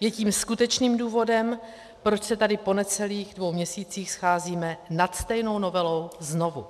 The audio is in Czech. je tím skutečným důvodem, proč se tady po necelých dvou měsících scházíme nad stejnou novelou znovu.